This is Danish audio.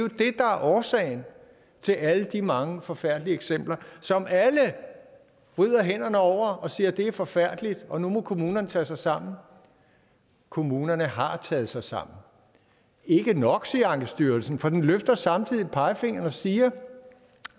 årsagen til alle de mange forfærdelige eksempler som alle vrider hænderne over og de siger at det er forfærdeligt og at nu må kommunerne tage sig sammen kommunerne har taget sig sammen ikke nok siger ankestyrelsen for den løfter samtidig pegefingeren og siger